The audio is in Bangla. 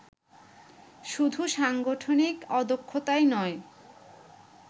শুধু সাংগঠনিক অদক্ষতাই নয়